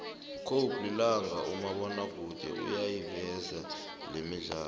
cobe lilanga umabonakude uyayiveza lemidlalo